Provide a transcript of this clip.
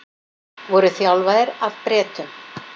Voru þjálfaðir af Bretum